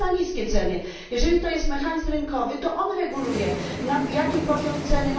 to znaczy za niskie ceny? Jeżeli jest to mechanizm rynkowy, to on reguluje poziom ceny.